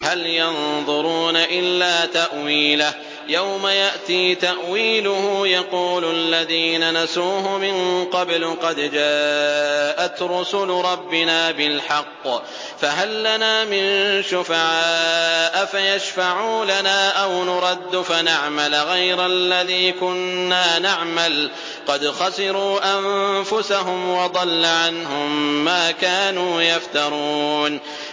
هَلْ يَنظُرُونَ إِلَّا تَأْوِيلَهُ ۚ يَوْمَ يَأْتِي تَأْوِيلُهُ يَقُولُ الَّذِينَ نَسُوهُ مِن قَبْلُ قَدْ جَاءَتْ رُسُلُ رَبِّنَا بِالْحَقِّ فَهَل لَّنَا مِن شُفَعَاءَ فَيَشْفَعُوا لَنَا أَوْ نُرَدُّ فَنَعْمَلَ غَيْرَ الَّذِي كُنَّا نَعْمَلُ ۚ قَدْ خَسِرُوا أَنفُسَهُمْ وَضَلَّ عَنْهُم مَّا كَانُوا يَفْتَرُونَ